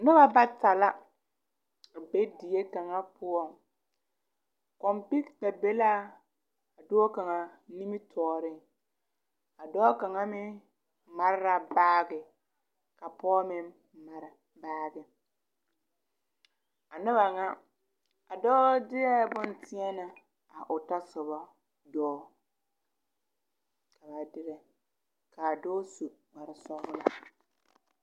Nuba bata la be die kanga pou komputar be la a doɔ kanga nimitoɔring a doɔ kanga meng mari la baagi ka poɔ meng mari baagi a nuba nga a doɔ deɛ bun teɛne a ɔ tɔsoba doɔ ka ba dire ka a doɔ su kpare sɔglaa.